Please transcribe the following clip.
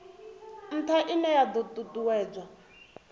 ntha ine ya do tutuwedza